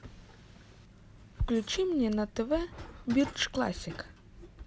включи мне на тв бридж классик